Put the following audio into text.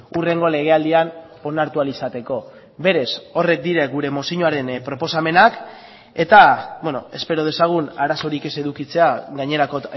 hurrengo legealdian onartu ahal izateko berez horrek dira gure mozioaren proposamenak eta espero dezagun arazorik ez edukitzea gainerako